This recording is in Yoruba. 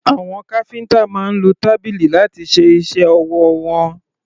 Àwọn káfíńtà máa ń lo tábìlì láti ṣe iṣẹ́ ọwọ́ wọn.